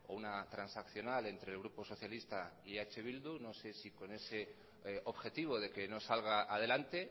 una transaccional entre el grupo socialista y eh bildu no sé si con ese objetivo de que no salga adelante